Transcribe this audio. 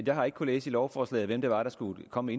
jeg har ikke kunnet læse i lovforslaget hvem det var der skulle komme